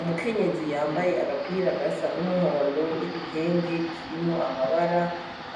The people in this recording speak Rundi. Umukenyezi yambaye agapira gasa n'umuhondo n'igitenge kirimo amabara